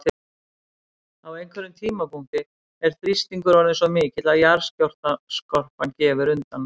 Á einhverjum tímapunkti er þrýstingur orðinn svo mikill að jarðskorpan gefur undan.